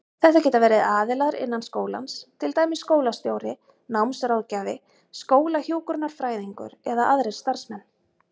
Þetta geta verið aðilar innan skólans, til dæmis skólastjóri, námsráðgjafi, skólahjúkrunarfræðingur eða aðrir starfsmenn.